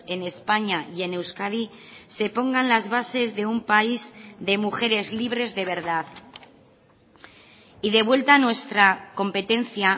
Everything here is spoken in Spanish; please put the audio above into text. en españa y en euskadi se pongan las bases de un país de mujeres libres de verdad y de vuelta a nuestra competencia